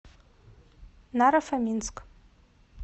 наро фоминск